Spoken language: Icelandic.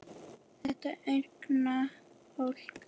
Þetta unga fólk.